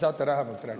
Saate lähemalt rääkida?